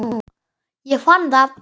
Ég fann það!